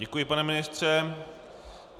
Děkuji, pane ministře.